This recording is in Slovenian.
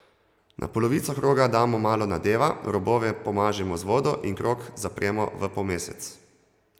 Na polovico kroga damo malo nadeva, robove pomažemo z vodo in krog zapremo v polmesec.